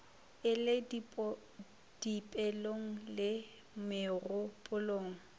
e le dipelong le megopolong